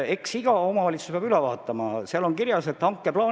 Eks iga omavalitsus peab uued investeeringud üle vaatama.